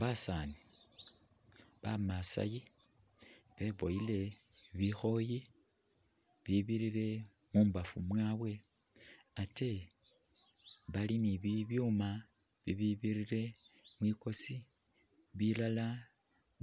Basaani bamasayi beboyele bikhoyi bibirire mumbafu mwabwe ate bali ni bibyuma bibibirire mwikosi ,bilala